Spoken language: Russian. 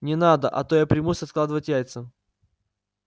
не надо а то я примусь откладывать яйца